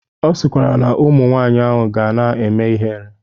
Ọ sịkwara na ụmụ nwaanyị ahụ ga na-eme ihere.